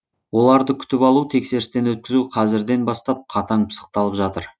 оларды күтіп алу тексерістен өткізу қазірден бастап қатаң пысықталып жатыр